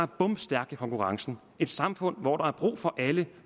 bomstærk i konkurrencen et samfund hvor der er brug for alle